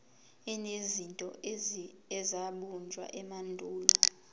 enezinto ezabunjwa emandulo